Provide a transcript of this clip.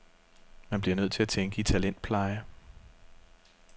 Man bliver nødt til at tænke i talentpleje.